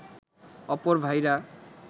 অপর ভাইরা